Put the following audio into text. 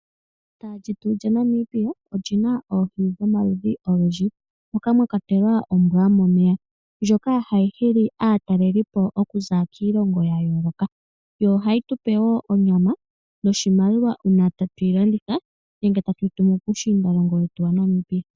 Efuta lyetu lyaNamibia olina oohi dhomaludhi ogendji moka mwa kwatelwa nombwa yomomeya, ndjoka hayi hili aatalelipo yaza kiilongo ya yooloka. Yo hayi tupe wo onyama noshimaliwa uuna tatuyi landitha nenge tatuyi tumu puushiindalongo wetu wa Namibia.